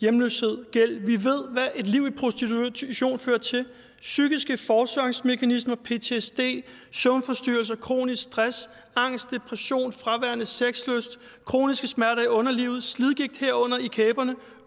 hjemløshed gæld vi ved hvad et liv i prostitution fører til psykiske forsvarsmekanismer ptsd søvnforstyrrelser kronisk stress angst depression fraværende sexlyst kroniske smerter i underlivet slidgigt herunder i kæberne